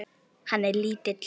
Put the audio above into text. Hann er lítill.